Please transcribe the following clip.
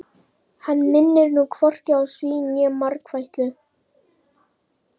Hann minnir nú hvorki á svín né margfætlu.